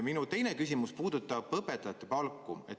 Minu teine küsimus puudutab õpetajate palka.